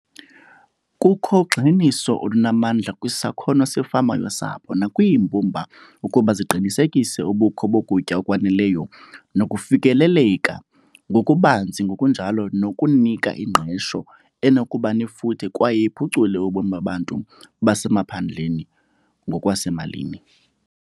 Kukho ugxininiso olunamandla kwisakhono sefama yosapho nakwiimbumba ukuba ziqinisekise ubukho bokutya okwaneleyo nokufikeleleka ngokubanzi ngokunjalo nokunika ingqesho enokuba nefuthe kwaye iphucule ubomi babantu basemaphandleni ngokwasemalini.